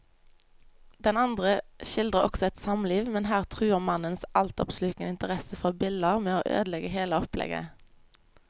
Den andre skildrer også et samliv, men her truer mannens altoppslukende interesse for biller med å ødelegge hele opplegget.